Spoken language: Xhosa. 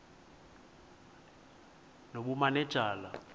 nobumanejala